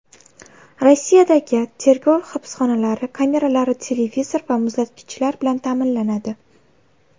Rossiyadagi tergov hibsxonalari kameralari televizor va muzlatgichlar bilan ta’minlanadi.